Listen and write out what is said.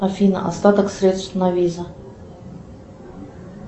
афина остаток средств на виза